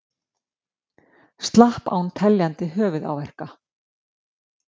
Slapp án teljandi höfuðáverka